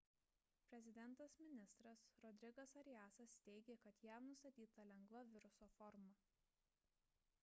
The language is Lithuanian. prezidentas-ministras rodrigas ariasas teiigė kad jam nustatyta lengva viruso forma